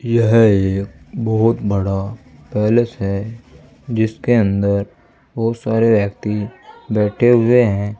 यह एक बहोत बड़ा पैलेस है जिसके अंदर बहुत सारे व्यक्ति बैठे हुए हैं।